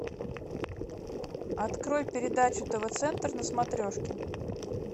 открой передачу тв центр на смотрешке